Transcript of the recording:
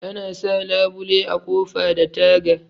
Ana sa labule a ƙofa da taga